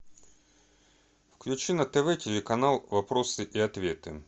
включи на тв телеканал вопросы и ответы